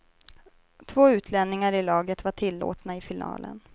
Två utlänningar i laget var tillåtna i finalen.